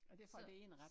Og det fra det ene ret